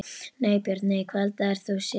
nei Börn: nei Hvað eldaðir þú síðast?